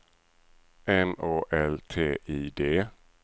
M Å L T I D